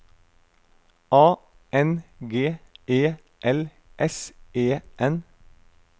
A N G E L S E N